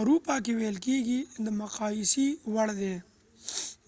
اروپا کې ویل کیږي د مقایسې وړ ده